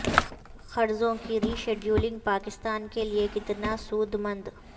قرضوں کی rescheduling Pakistan کے لیے کتنا سود مند